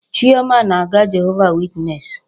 Chioma na-aga Jehova witness.